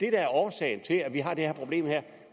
er årsagen til at vi har det her problem er